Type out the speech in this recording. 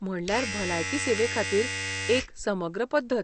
म्हणल्यार भलायकी सेवेखातीर एक समग्र पद्दत.